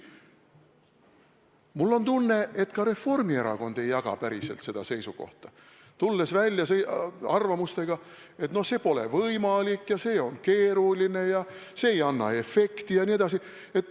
Aga mul on tunne, et ka Reformierakond ei jaga päriselt seda seisukohta, olles tulnud välja arvamustega, et see pole võimalik, see on keeruline ega anna efekti.